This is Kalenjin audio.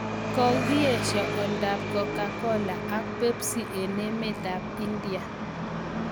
Kokeesha aldaetap cocacola ak Pepsi eng' emetap India.